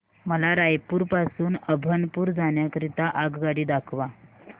मला रायपुर पासून अभनपुर जाण्या करीता आगगाडी दाखवा